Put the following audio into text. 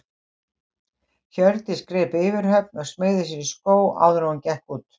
Hjördís greip yfirhöfn og smeygði sér í skó áður en hún gekk út.